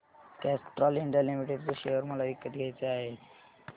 Castrol India limited share मला विकत घ्यायचे आहेत